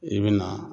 I bi na